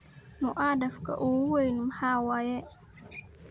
Muwadhaf ooku weyn maxa waye?